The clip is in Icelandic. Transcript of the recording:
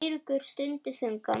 Eiríkur stundi þungan.